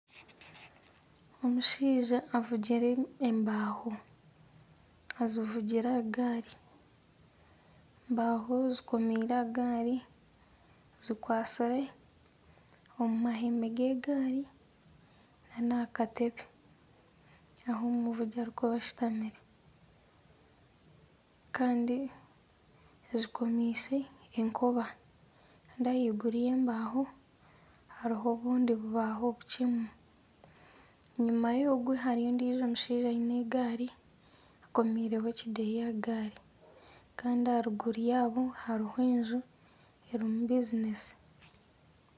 Omushaija avugire embaaho azivugire aha gaari. Embaaho zikomeire aha gaari, zikwatsire omu mahembe g'egaari n'aha katebe ahu omuvugi arikuba ashutami. Kandi azikomeise enkoba. Kandi ahaiguru y'embaaho hariho obundi bubaaho bukyemu. Enyima y'ogwe hariyo ondiijo omushaija aine egaari akomiireho ekideeya aha gaari. Kandi aha ruguru yaabo hariho enju erimu bizinesi.